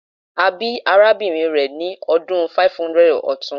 A bi arabinrin rẹ ni ọdun 500 ọtun